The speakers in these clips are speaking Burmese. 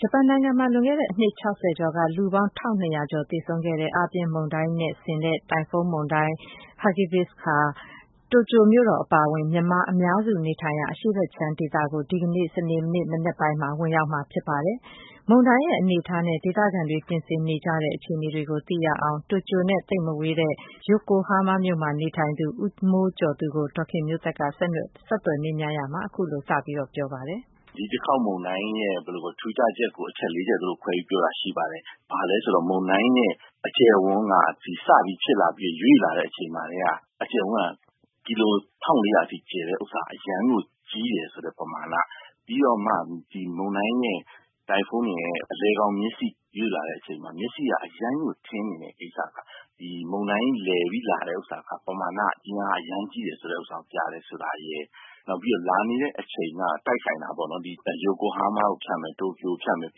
ဂျပန်နိုင်ငံမှာ လွန်ခဲ့တဲ့အနှစ် ၆၀ ကျော်က လူပေါင်း ၁၂၀၀ ကျော်သေဆုံးခဲ့ရတဲ့ အားပြင်းမုန်တိုင်းနဲ့ ဆင်တဲ့ တိုင်ဖုန်းမုန်တိုင်း Hagibis ဟာ တိုကျိုမြို့တော် အပါအဝင် မြန်မာအများစု နေထိုင်ရာ အရှေ့ဖက်ခြမ်းဒေသကို ဒီကနေ့ စနေနေ့ မနက်ပိုင်းမှာ ဝင်ရောက်မှာ ဖြစ်ပါတယ်။ မုန်တိုင်းရဲ့ အနေအထားနဲ့ ဒေသခံတွေ ပြင်ဆင်နေကြတဲ့ အခြေနေတွေကို သိရအောင် တိုကျိုနဲ့ သိပ်မဝေးတဲ့ ယိုကိုဟားမားမြို့မှာ နေထိုင်တဲ့ ဦးမိုးကျော်သူကို ဒေါ်ခင်မျိုးသက်က ဆက်သွယ်မေးမြန်းရာမှာ အခုလို စပြောပါတယ်။ ဦးမိုးကျော်သူ။ ။ ဒီတခေါင် မုန်တိုင်းရဲ့ ထူးခြားချက်ကို အချက် ၄ ချက်စလုံး ခွဲပြီးပြောတာရှိပါတယ်။ ဘာလဲဆိုတော့ မုန်တိုင်းရဲ့ အကျယ်အဝန်းက စဖြစ်ဖြစ်လာပြီး ရွေ့လာတဲ့အချိန်မှာ ကီလို ၁၄၀၀ အထိ ကျယ်တာက အရမ်းကို ကြီးတယ်ဆိုတဲ့ ပမာဏ ၊ ပြီးတော့ မုန်တိုင်းရဲ့ အလည်မျက်စိ ရွေ့လာတဲ့အချိန်မှာ မျက်စိက အရမ်းထင်းနေတဲ့ကိစ္စ မုန်တိုင်းလည်ပြီးလာတဲ့ ပမာဏ အင်အားအရမ်းကြီးတယ် ဆိုတာပြတယ်ဆိုတာရယ် နောက်ပြီးတော့ လာနေတဲ့ အချိန်မှာ တိုက်ဆိုင်တာပေါ့နော် ယိုကိုဟားမားကို ဖြတ်မယ်၊ တိုကျိုကိုဖြတ်မယ်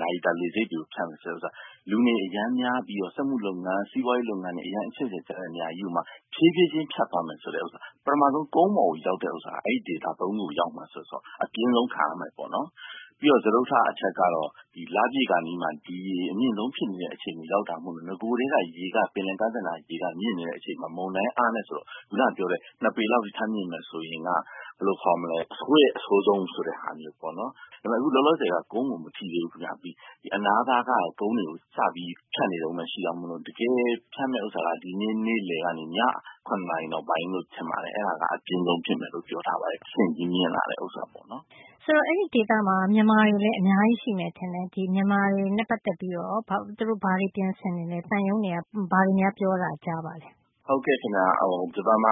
နာရီတာလေဆိပ်ကို ဖြတ်မယ်ဆိုတာ လူတွေအရမ်းများပြီးတော့ စက်မှုလုပ်ငန်း ၊ စီးပွားရေးလုပ်ငန်းတွေ အရမ်းကို အချက်အချာကျတဲ့နေရာတွေ ကို ဖြေးဖြေးချင်းဖြတ်သွားမယ်ဆိုတာ။ ပထမဦးဆုံး ကုန်းပေါ်ရောက်တဲ့အချိန် အဲဒီဒေသကြီး ၃ ခုကို ရောက်မယ်ဆိုတော့ အပြင်းဆုံးခံရမယ့်သဘောပေါ့နော်။ ပြီးတော့ စတုတ္ထအချက်ကတော့ လပြည့်ခါနီးမှာ ဒီရေအပြည့်ဆုံးအချိန်ကို ရောက်တာမို့ နဂိုကတည်းက ပင်လယ်ကမ်းစပ်နားက ရေက မြင့်နေတဲ့အတွက် မုန်တိုင်းအားနဲဆိုတော့ ခုနပြောတဲ့ ၂ ပေလောက်ထပ်မြင့်မယ်ဆိုရင် အဆိုးရဲ့ အဆိုးဆုံးဆိုတာပေါ့နော် ။ ဒါပေမယ့် အခုလောလောဆည်က ကုန်းကိုတော့ မထိသေးဘူး။ ဒီအနားသားက ကုန်းတွေကို စပြီးတော့ ဖြတ်နေတဲ့ အခြေအနေပဲ ဖြစ်သေးတာကြောင့် တကယ်ဖြတ်မယ့်ဟာက နေ့လည်ကနေ ည ၇ နာရီနောက်ပိုင်းမှာလို့ ထင်ပါတယ်။ အဲဒါက အပြင်းဆုံးဖြစ်မယ်လို့ ပြောထားတယ် တဆင့်ချင်းမြင့်လာမယ့်ဟာပေါ့နော်။ ဒေါ်ခင်မျိုးသက် ။ ။ ဆိုတော့ အဲဒီဒေသမှာ မြန်မာတွေလည်းအများကြီးရှိမယ်ထင်တယ်။ ဒီမြန်မာတွေနဲ့ ပတ်သက်ပြီးတော့ သူတို့ ဘာတွေပြင်ဆင်နေသလဲ။ သံရုံးတွေက ဘာတွေများပြောတာ ကြားပါသလဲ။ ဦးမိုးကျော်သူ။ ။ လွန်ခဲ့တဲ့ ၁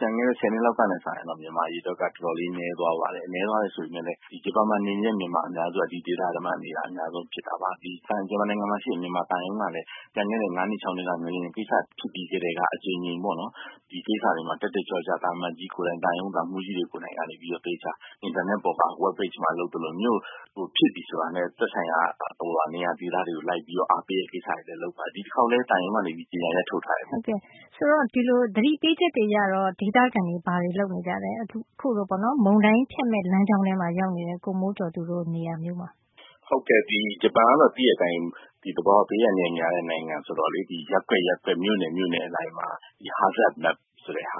၀ နှစ်လောက်ကစာရင်တော့ ဂျပန်မှာ မြန်မာအရေအတွက်က တော်တော်လေးနည်းသွားတယ် နည်းသွားတယ်ဆိုပေမယ့် ဂျပန်မှာ နေနေတဲ့ မြန်မာအများစုက ဒီဒေသထဲမှာ နေတာအများဆုံးဖြစ်တာပါ။ ဂျပန်နိုင်ငံမှာရှိတဲ့ မြန်မာသံရုံးကလည်း ကျန်ခဲ့တဲ့ ၅ နှစ် ၆ နှစ်က ငလျင်ကိစ္စဖြစ်ပြီးကတည်းက အကြိမ်ကြိမ်ပေါ့နော် ဒီကိစ္စမှာ တက်တက်ကြွကြွ သံအမတ်ကြီးကိုယ်တိုင် သံရုံးသံမှူးကြီးတွေကိုယ်တိုင် သေချာ အင်တာနက်ပေါ်မှာ Web Page တွေမှာ ဖြစ်ပြီဆိုတာနဲ့ သက်ဆိုင်ရာ နေရာဒေသတွေကို လိုက်ပြီးတော့ သတင်းပေးတဲ့ကိစ္စတွေ လုပ်ပါတယ်။ ဒီတခေါက်လည်း သံရုံးက ကြေညာချက်တွေ ထုတ်ထားတယ်။ ဒေါ်ခင်မျိုးသက် ။ ။ သတိပေးချက်တွေအရတော့ ဒေသခံတွေ ဘာတွေလုပ်နေကြသလဲ။ မုန်တိုင်းဖြတ်မယ့် လမ်းကြောင်းမှာရောက်နေတဲ့ ကိုမိုးကျော်သူတို့ နေရာမျိုးမှာ။ ဦးမိုးကျော်သူ။ ။ ဟုတ်ကဲ့ ဂျပန်ကတော့ သိတဲ့အတိုင်း သဘာ၀ ဘေးအန္တရာယ်များတဲ့ နိုင်ငံဆိုတော့ ရပ်ကွက်၊ မြို့နယ်အလိုက်မှာ hazard map ဆိုတဲ့ဟာ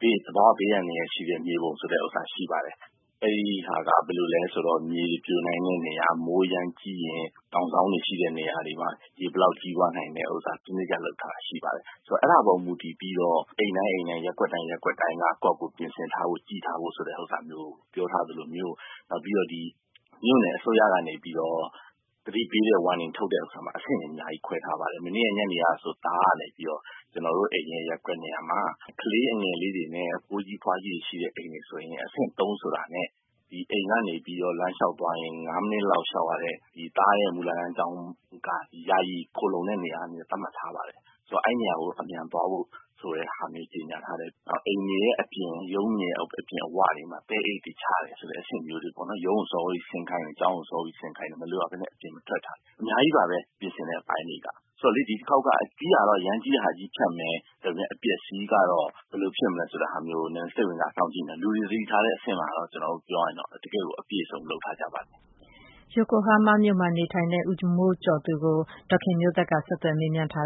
သဘာ၀ ဘေးအန္တရာယ်ရှိတဲ့ မြေပုံဆိုပြီးတော့ ရှိတယ် အဲဒါက ဘယ်လိုလဲဆိုတော့ မြေတွေပြိုနိုင်တဲ့နေရာ ၊ မိုးအရမ်းကြီးရင် တောင်စောင်း တွေရှိတဲ့နေရာတွေမှာ ရေဘယ်လောက်ကြီးသွားနိုင်တဲ့ဟာ စနစ်တကျ လုပ်ထားတာရှိပါတယ်။ ဆိုတော့ အဲဒါပေါ်မူတည်ပြီးတော့ အိမ်တိုင်း၊ ရပ်ကွက်တိုင်း ကိုယ့်ဟာကိုယ် ပြင်ဆင်ထားဖို့ ကြည့်ထားဖို့ဆိုတာမျိုးကို ပြောထားသလိုမျိုး ၊ နောက်ပြီးတော့ မြို့နယ်အစိုးရကနေပြီးတော့ သတိပေးတဲ့ Warning ထုတ်တာမှာ အဆင့်တွေ အများကြီးခွဲထားပါတယ်။ မနေ့ညနေကဆိုရင် ကျနော့်သားကနေပြီးတော့ ကျနော်အရင်ရပ်ကွက်နေရာမှာ ကလေးအငယ်လေးတွေနဲ့ အဖိုးကြီး ၊ အဖွားကြီးရှိတဲ့နေရာမှာ အဆင့် ၃ ဆိုတာနဲ့ အိမ်ကနေပြီးတော့ လမ်းလျောက်သွားရင် ၅ မိနစ်လောက်လျောက်ရတဲ့ သားရဲ့ မူလတန်းကျောင်းက ယာယီခိုလုံတဲ့နေရာသတ်မှတ်ထားတယ်။ ဆိုတော့ အဲဒီနေရာကို အမြန်သွားဖို့ဆိုတာမျိုးကြေညာထားတယ်။ နောက် အိမ်တွေအပြင် ရုံးတွေအပြင်မှာ သဲအိတ်တွေချတယ်ဆိုတာတွေ ၊ ရုံးကို စောစောဆင်းခိုင်းတယ် ကျောင်း စောစောဆင်းခိုင်းတယ်။ မလိုအပ်ပဲနဲ့ အပြင်မထွက်ဖို့ အများကြီးပါပဲ ပြင်ဆင်တဲ့အပိုင်းတွေက ဆိုတော့ ဒီတခေါက်က ကြီးတာကတော့ အကြီးကြီးဖြတ်မယ် အပျက်အစီးကတော့ ဘယ်လိုဖြစ်မလဲဆိုတာကို စိတ်ဝင်တစားစောင့်ကြည့်နေတယ်။ လူတွေသတိထားတဲ့အဆင့်မှာတော့ ပြောရရင် ကျနော်တို့ အပြည့်အစုံလုပ်ထားကြပါတယ်။” ယိုကိုဟားမားမြို့မှာ နေထိုင်တဲ့ ဦးမိုးကျော်သူကို ဒေါ်ခင်မျိုးသက်က ဆက်သွယ်မေးမြန်းထား